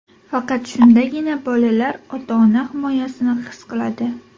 Faqat shundagina bolalar ota-ona himoyasini his qiladi.